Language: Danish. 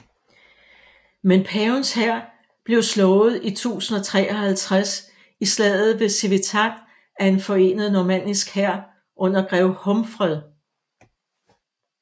Men pavens hær blev slået i 1053 i slaget ved Civitate af en forenet normannisk hær under grev Humfred